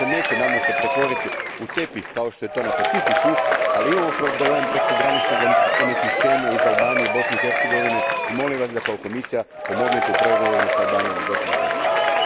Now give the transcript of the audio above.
Nadam se da se on neće pretvoriti u tepih kao što je to na Pacifiku, ali imamo problem prekograničnog onečišćenja iz Albanije i Bosne i Hercegovine i molim Vas da kao Komisija pomognete u pregovorima s Albanijom i Bosnom i Hercegovinom.